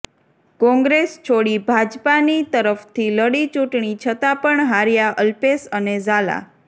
કોંગ્રેસ છોડી ભાજપાની તરફથી લડી ચૂંટણી છતા પણ હાર્યા અલ્પેશ અને ઝાલા